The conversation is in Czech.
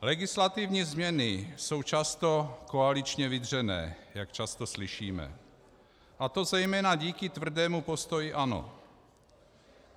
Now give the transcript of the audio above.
Legislativní změny jsou často koaličně vydřené, jak často slyšíme, a to zejména díky tvrdému postoji ANO.